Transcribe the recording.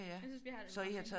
Jeg synes vi har det meget fint